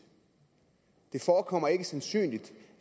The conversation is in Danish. det forekommer ikke sandsynligt